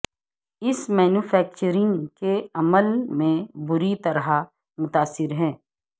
اس manufacturing کے عمل میں بری طرح متاثر ہے